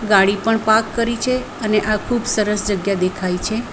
ગાડી પણ પાર્ક કરી છે અને આ ખુબ સરસ જગ્યા દેખાય છે.